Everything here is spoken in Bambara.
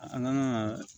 An kan ka